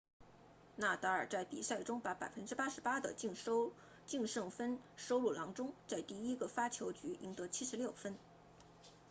纳达尔 nadal 在比赛中把 88% 的净胜分收入囊中在第一个发球局赢得76分